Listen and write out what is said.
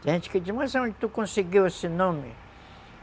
Tem gente que diz, mas onde tu conseguiu esse nome?